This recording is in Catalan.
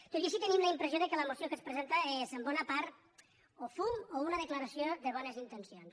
tot i així tenim la impressió que la moció que es presenta és en bona part o fum o una declaració de bones in·tencions